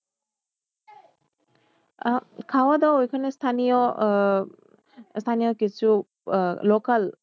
আহ খাওয়া দাওয়া ওখানে স্থানীয় আহ স্থানীয় কিছু আহ local